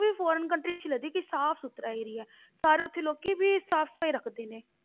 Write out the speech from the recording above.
ਵੀ Foreign country ਅੱਛੀ ਲੱਗਦੀ ਕਿ ਸਾਫ਼ ਸੁਥਰਾ area ਹੈ, ਸਾਰੇ ਉੱਥੇ ਲੋਕੀ ਵੀ ਸਾਫ਼ ਸਫ਼ਾਈ ਰੱਖਦੇ ਨੇ।